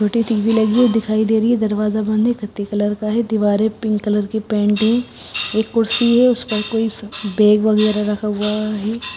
उल्टी टी_वी लगी है दिखाई दे रही है दरवाजा बंद है कितने कलर का है दीवारें पिंक कलर की पेंटिंग एक कुर्सी है उसे पर कोई बैग वगैरा रखा हुआ है।